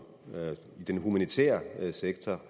i den humanitære sektor